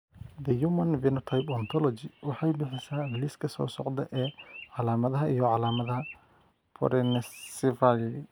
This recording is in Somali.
The Human Phenotype Ontology waxay bixisaa liiska soo socda ee calaamadaha iyo calaamadaha Porencephaly.